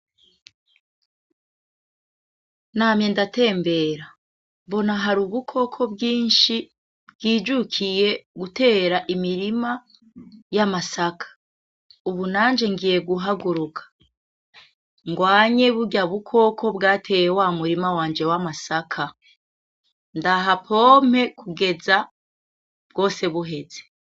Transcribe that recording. Namye ndatembera, mbona hari ubukoko bwinshi bwijukiye gutera imirima y'amasaka, ubu nanje ngiye guhaguruka ngwanye burya bukoko bwateye wa murima wanje w'amasaka, ndahapompe kugeza, bwose buheze.